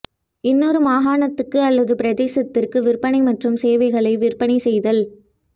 இன்னொரு மாகாணத்துக்கு அல்லது பிரதேசத்திற்கு விற்பனை மற்றும் சேவைகளை விற்பனை செய்தல்